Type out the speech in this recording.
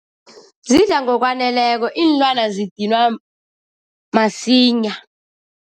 Zidla ngokwaneleko. Iinlwana zidinwa masinya.